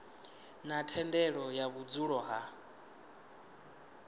na thendelo ya vhudzulo ha